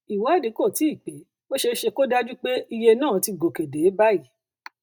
ìwádìí kò tíì pé ó ṣeé ṣe kó dájú pé iye náà ti gòkè dé báyìí